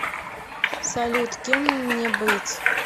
салют кем мне быть